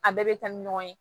A bɛɛ bɛ taa ni ɲɔgɔn ye